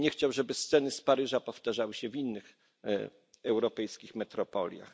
Ja bym nie chciał, żeby sceny z Paryża powtarzały się w innych europejskich metropoliach.